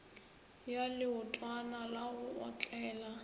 ya leotwana la go otlela